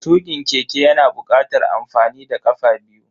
Tukin keke yana bukatar amfani da kafa biyu.